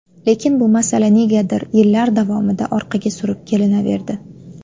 Lekin bu masala negadir yillar davomida orqaga surib kelinaverdi.